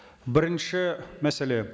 бірінші мәселе